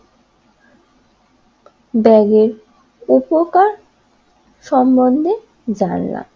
ব্যাগের উপকার সমন্ধেজানলাম